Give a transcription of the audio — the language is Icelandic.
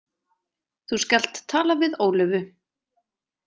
Þú skalt tala við Ólöfu.